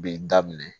Bi daminɛ